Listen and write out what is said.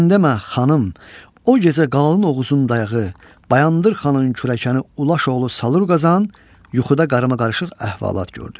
Sən demə, Xanım, o gecə Qalın Oğuzun dayağı, Bayandır Xanın kürəkəni Ulaş oğlu Salur Qazan yuxuda qarma-qarışıq əhvalat gördü.